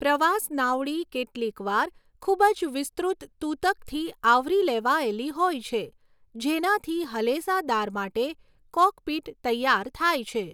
પ્રવાસ નાવડી કેટલીકવાર ખૂબ જ વિસ્તૃત તૂતકથી આવરી લેવાયેલી હોય છે જેનાથી હલેસાદાર માટે 'કૉકપિટ' તૈયાર થાય છે.